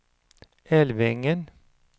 Älvängen